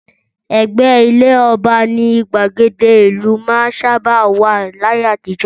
Ẹ̀gbẹ́ ilé ọba ni gbàgede ìlú máa ń sábà wà láyé àtijọ́